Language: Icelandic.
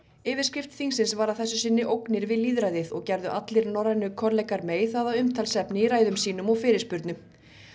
yfirskrift þingsins var að þessu sinni ógnir við lýðræðið og gerðu allir norrænu kollegar May það að umtalsefni í ræðum sínum og fyrirspurnum